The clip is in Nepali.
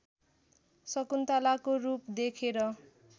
शकुन्तलाको रूप देखेर